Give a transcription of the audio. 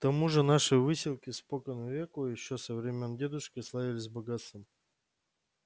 к тому же наши выселки спокон веку ещё со времён дедушки славились богатством